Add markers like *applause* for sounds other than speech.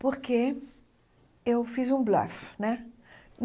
porque fiz um *unintelligible* né.